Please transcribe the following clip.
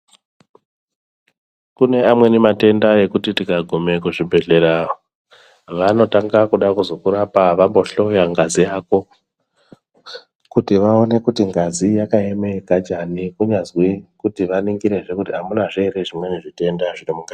Kune amweni matenda ekuti tikagume kuzvibhedhlera vanotanga kuda kuzokurapa vambohloya ngazi yako , kuti vaone kuti ngazi yakaeme kanjani kunyazwi kuti vaningirizve amunazve zvimweni zvitenda zviri munga.